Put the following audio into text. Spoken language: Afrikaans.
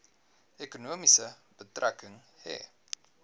ekonomie betrekking hê